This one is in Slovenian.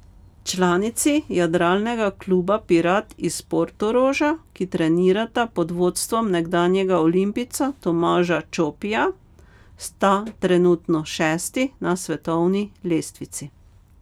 Članici Jadralnega kluba Pirat iz Portoroža, ki trenirata pod vodstvom nekdanjega olimpijca Tomaža Čopija, sta trenutno šesti na svetovni lestvici.